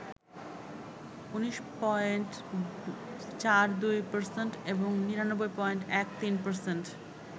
১৯.৪২% এবং ৯৯.১৩%